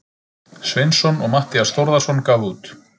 Sveinsson og Matthías Þórðarson gáfu út.